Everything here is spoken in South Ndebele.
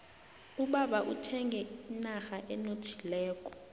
ubaba uthenge inrha enothileko